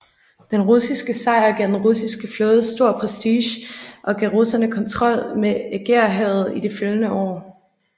Den russiske sejr gav den russiske flåde stor prestige og gav russerne kontrol med Ægæerhavet i de følgende år